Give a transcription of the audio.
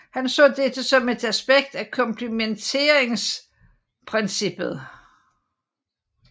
Han så dette som et aspekt af komplementaritetsprincippet